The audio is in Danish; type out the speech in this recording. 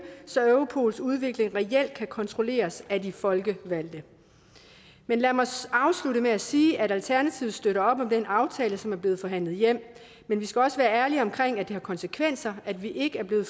så europols udvikling reelt kan kontrolleres af de folkevalgte lad mig afslutte med at sige at alternativet støtter op om den aftale som er blevet forhandlet hjem men vi skal også være ærlige omkring at det har konsekvenser at vi ikke er blevet